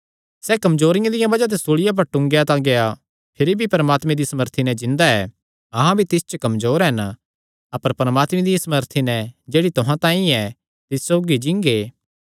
सैह़ कमजोरियां दिया बज़ाह ते सूल़िया पर टूंगेया तां गेआ भिरी भी परमात्मे दी सामर्थी नैं जिन्दा ऐ अहां भी तिस च कमजोर हन अपर परमात्मे दिया सामर्थी नैं जेह्ड़ी तुहां तांई ऐ तिस सौगी जींगे